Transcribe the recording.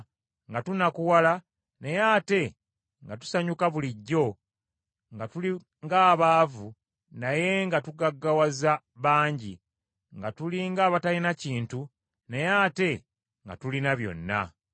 nga tunakuwala naye ate nga tusanyuka bulijjo, nga tuli ng’abaavu naye nga tugaggawaza bangi, nga tuli ng’abatalina kintu naye ate nga tulina byonna.